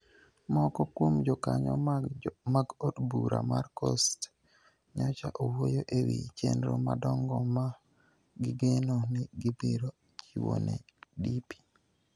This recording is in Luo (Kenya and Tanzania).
Moko kuom jokanyo mag od bura mar Coast nyocha owuoyo e wi chenro madongo ma gigeno ni gibiro chiwo ne DP.